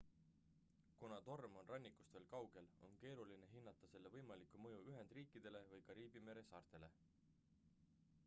kuna torm on rannikust veel kaugel on keeruline hinnata selle võimalikku mõju ühendriikidele või kariibi mere saartele